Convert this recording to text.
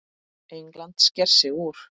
England sker sig úr.